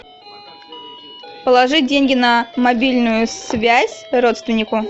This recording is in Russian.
положить деньги на мобильную связь родственнику